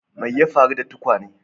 Me ya faru da tukwane?